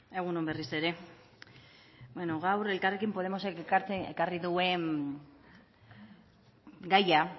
egun on berriz ere beno gaur elkarrekin podemosek ekarri duen gaia